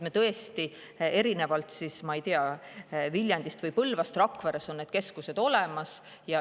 Tõesti, erinevalt siis, ma ei tea, Viljandist või Põlvast on Rakveres see keskus olemas.